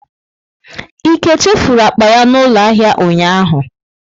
Ike chefuru akpa ya n'ulo ahia ụnyahụ?